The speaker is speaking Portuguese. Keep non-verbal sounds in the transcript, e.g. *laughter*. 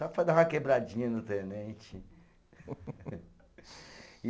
Só para dar uma quebradinha no tenente. *laughs* E